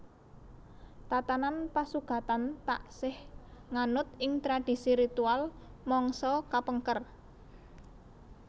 Tatanan pasugatan taksih nganut ing tradisi ritual mangsa kapengker